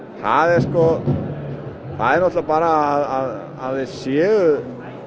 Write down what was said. sko það er nátturlega bara að þeir séu